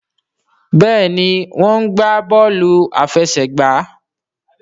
Béèni wón gbà Bọ́ọ̀lù àfẹsẹ̀gbá.